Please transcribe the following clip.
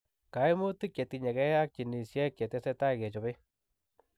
Kaimutik chetinyegei ak jinisiek chetesetai kechopei